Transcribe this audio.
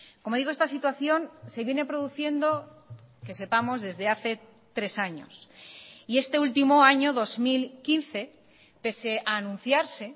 como digo esta situación se viene produciendo que sepamos desde hace tres años y este último año dos mil quince pese a anunciarse